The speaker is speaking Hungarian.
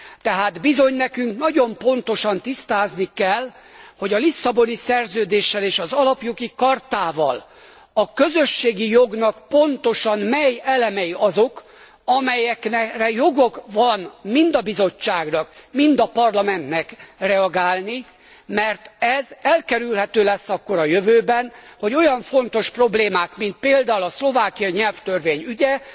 Tehát bizony nekünk nagyon pontosan tisztázni kell, hogy a Lisszaboni Szerződéssel és az Alapjogi Chartával a közösségi jognak pontosan mely elemei azok, amelyekre joga van mind a Bizottságnak mind a Parlamentnek reagálni, mert ez elkerülhető lesz akkor a jövőben, hogy olyan fontos problémák mint például a szlovákiai nyelvtörvény ügye